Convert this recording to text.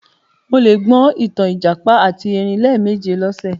Mo le gbọ ìtàn ìjàpá àti erin lẹ́ẹ̀méje lọ́sẹ̀